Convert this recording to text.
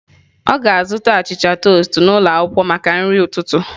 Ọ ga-azụta achịcha toast n'ụlọ akwụkwọ maka nri ụtụtụ.